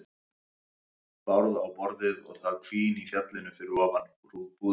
Bárð á borðið og það hvín í fjallinu ofan við búðirnar.